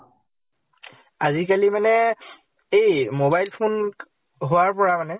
আজি কালি মানে এই mobile phone হোৱাৰ পৰা মানে